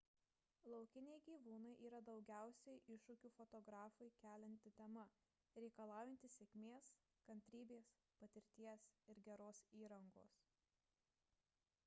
laukiniai gyvūnai yra daugiausiai iššūkių fotografui kelianti tema reikalaujanti sėkmės kantrybės patirties ir geros įrangos